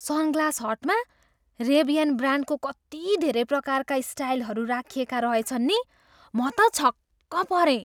Sunglass हटमा Ray Ban ब्रान्डको कति धेरै प्रकारका स्टाइलहरू राखिएका रहेछन् नि? म त छक्क परेँ।